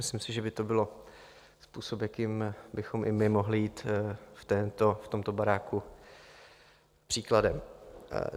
Myslím si, že by to byl způsob, jakým bychom i my mohli jít v tomto baráku příkladem.